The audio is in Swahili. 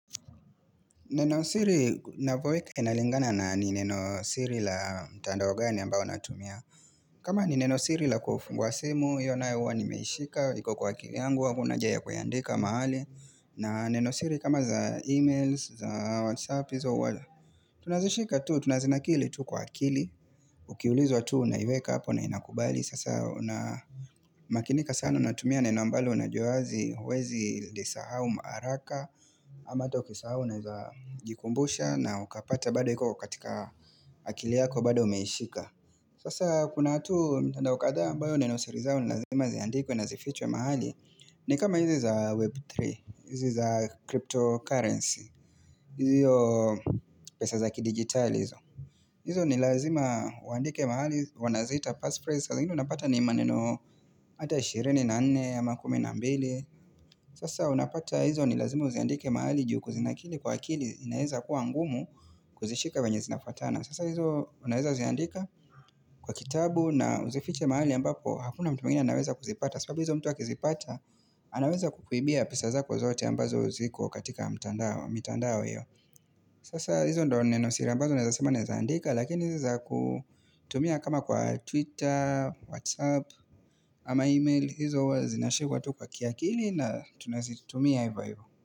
Neno siri ninapoweka inalingana na ni neno siri la mtandao gani ambao natumia. Kama ni neno siri la kufungua simu, hiyo nayo huwa nimeishika iko kwa akili yangu hakunaha ja ya kuiandika mahali. Na neno siri kama za emails, za whatsapp, izo wala, tunazishika tu, tunazinakili tu kwa akili. Ukiulizwa tu unaiweka hapo na inakubali sasa una makinika sana unatumia neno ambalo unajua huwezi, huwezi lisahau haraka. Ama ata ukisahau unaezajikumbusha na ukapata bado iko katika akil iyako bado umeishika Sasa kuna tu mtandao kadhaa ambayo neno siri zao ni lazima ziandikwe na zifichwe mahali ni kama hizi za Web3, hizi za cryptocurrency, hiyo pesa za kidigitali hizo. Hizo ni lazima uandike mahali, wanaziita passphrase. Saa zingine unapata ni maneno ata 24, ama kumi na mbili. Sasa unapata hizo ni lazima uziandike mahali juu kuzinakili kwa akili inaeza kuwa ngumu kuzishika venye zinafuatana. Sasa hizo unaeza ziandika kwa kitabu na uzifiche mahali ambapo hakuna mtu mwngine anaweza kuzipata. Sababu hizo mtu akizipata anaweza kukuibia pesa zako zote ambazo ziko katika mitandao mitandao hiyo. Sasa hizo ndo neno siri ambazo naeza sema naeza andika, lakini izi za kutumia kama kwa Twitter, Whatsapp ama email hizo zinashikwa kwa kiakili na tunazitumia ivo ivo.